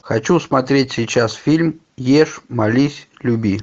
хочу смотреть сейчас фильм ешь молись люби